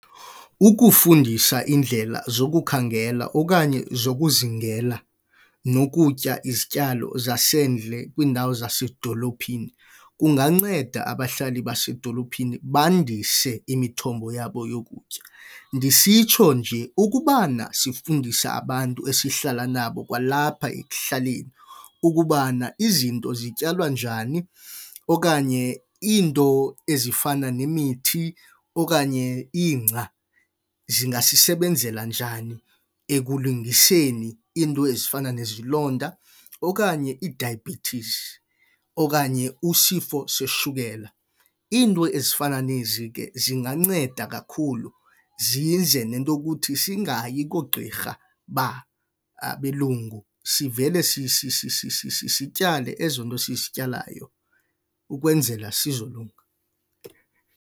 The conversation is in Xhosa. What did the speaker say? Ukufundisa indlela zokukhangela okanye zokuzingela nokutya izityalo zasendle kwiindawo zasedolophini kunganceda abahlali basedolophini bandise imithombo yabo yokutya. Ndisitsho nje ukubana sifundisa abantu esihlala nabo kwalapha ekuhlaleni ukubana izinto zityalwa njani okanye iinto ezifana nemithi okanye ingca zingasisebenzela njani ekulungiseni iinto ezifana nezilonda okanye idayibhethisi, okanye usifiso seshukela. Iinto ezifana nezi ke zinganceda kakhulu zize nento yokuthi singayi koogqirha babelungu sivele sityale ezo nto sisityalayo ukwenzela sizolunga.